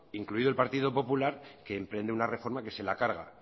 incluido el partido popular que emprende una reforma que se la carga